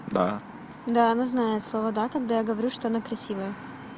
да да она знает слово да когда я говорю что она красивая